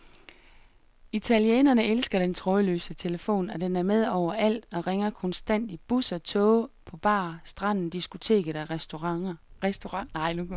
Italienerne elsker den trådløse telefon, og den er med overalt og ringer konstant i busser, toge, på bar, stranden, diskoteker og restauranter.